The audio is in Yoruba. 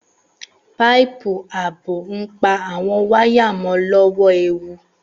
Páìpù ààbò ń pa àwon waya mo lọ́wọ́ ewu